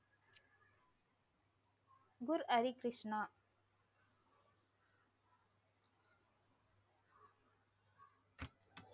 Guru Harikrishna,